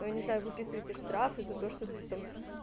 не знаю выписываете штраф и за то что ты там